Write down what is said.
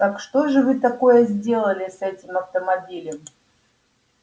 так что же вы такое сделали с этим автомобилем